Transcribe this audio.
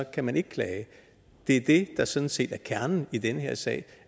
kan man ikke klage det er det der sådan set er kernen i den her sag